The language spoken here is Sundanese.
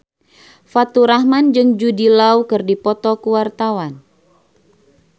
Faturrahman jeung Jude Law keur dipoto ku wartawan